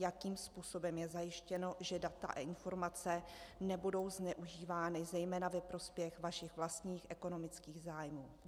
Jakým způsobem je zajištěno, že data a informace nebudou zneužívány zejména ve prospěch vašich vlastních ekonomických zájmů?